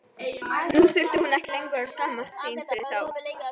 Nú þurfti hún ekki lengur að skammast sín fyrir þá.